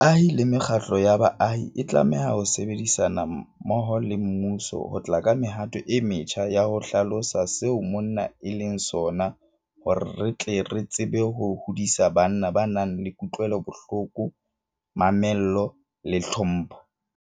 Baahi le mekgatlo ya baahi e tlameha ho sebedisana mmoho le mmuso ho tla ka mehato e metjha ya ho hlalosa seo monna e leng sona hore re tle re tsebe ho hodisa banna ba nang le kutlwelobohloko, mamello le tlhompho.